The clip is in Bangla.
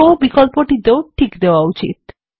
শো বিকল্পটিতেও টিক করা উচিত